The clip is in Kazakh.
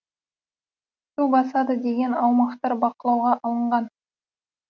су басады деген аумақтар бақылауға алынған